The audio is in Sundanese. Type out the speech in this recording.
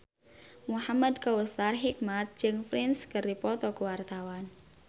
Muhamad Kautsar Hikmat jeung Prince keur dipoto ku wartawan